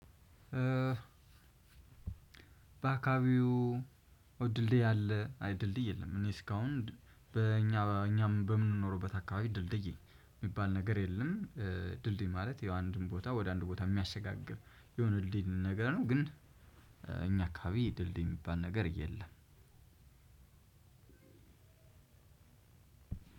በአካባቢው ድልድይ አለ? አይ ድልድይ የለም። እኔ እስካሁን በእኛ በእኛ በምንኖርበት አካባቢ ድልድይ የሚባል ነገር የለም። ድልድይ ማለት የው አንድን ቦታ ወደ አንድ ቦታ የሚያሸጋግር የሆነ ድልድይ ነገር ነው። ግን እኛ አካባቢ ድልድይ የሚባል ነገር የለም።